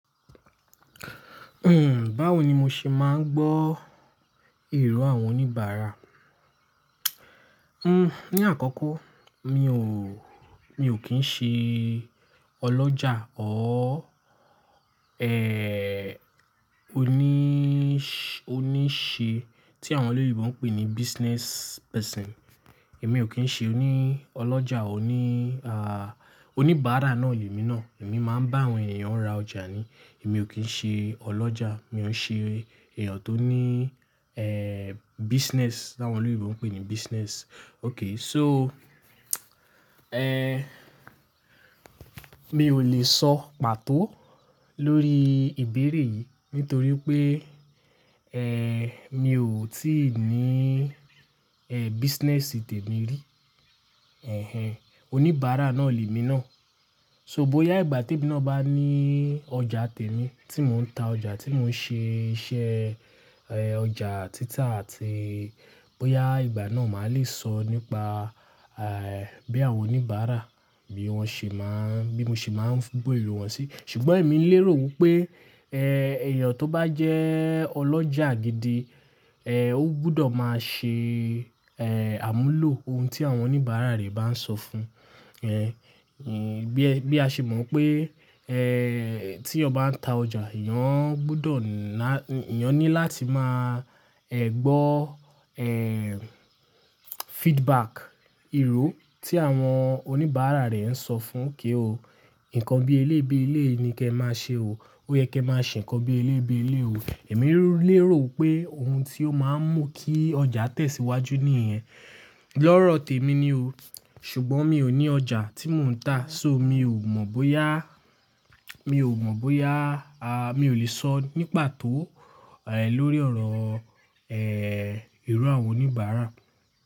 Hmm, báwo ni mo ṣe máa ń gbọ́ ìrò àwọn oníbàárà? Hmm, ní àkọ́kọ́ mi ò, mi ò kín ṣe ọlọ́jà or, ẹ́, oníṣe tí àwọn olóyèbo ń pè ní business person. Èmi ò kín ṣe oní ọlọ́jà, oní, à, oníbàárà náà lè mi náà. Èmi máa ń bá àwọn ènìyàn ra ọjà ni. Èmi ò kín ṣe ọlọ́jà, mi ò ń ṣe èèyàn tó ní, ẹ́, business tí àwọn olóyèbo ń pè ní business. Okay, so, ẹ́, mi ò lè sọ pàtó lórí ìbéèrè yìí nítorí pé, ẹ́, mi ò tí ì ní, ẹ́, business tèmí rí. Ẹ̀hen. Oníbàárà náà lè mi náà. So bóyá ìgbà tí bí iná bá ní ọjà tèmí tí mò ń ta ọjà, tí mò ń ṣe iṣẹ́, ẹ́, ọjà títà àti bóyá ìgbà náà mà lè sọ nípa, à, bí àwọn oníbàárà bí wọ́n ṣe máa ń, bí mo ṣe máa ń gbọ́ irò wọn sí. Ṣùgbọ́n èmi ń lérò wípé, ẹ́, èèyàn tó bá jẹ́ ọlọ́jà gidi, ẹ́, ó gbọdọ̀ máa ṣe, ẹ́, àmúlò ohun tí àwọn oníbàárà rẹ̀ bá ń sọ fún. Ẹ́, bí a ṣe mọ̀ pé, ẹ́, tí ọba ń ta ọjà, ìyán gbọdọ̀ ná, èyán ní láti máa, ẹ́, gbọ́, ẹ́, feedback, ìrò tí àwọn oníbàárà rẹ̀ ń sọ fún okay o, nǹkan bí eléyìí bi eléyìí ni kí ẹ máa ṣe o. Ó yẹ kí ẹ máa ṣe nǹkan bí elébé elébé o. Èmi ń lérò pé ohun tí ó máa ń mú kí ọjà tẹ̀síwájú nìyẹn. Lọ́rọ̀ tèmi ni o. Ṣùgbọ́n mi ò ní ọjà tí mò ń tà. So mi ò mọ̀ bóyá, mi ò mọ̀ bóyá, à, mi ò lè sọ ní pàtó, ẹ́, lórí ọ̀rọ̀, ẹ́, èrò àwọn oníbàárà.